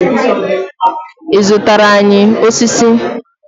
I zụtara anyị osisi?